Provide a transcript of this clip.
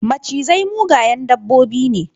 Macizai mugayen dabbobi ne.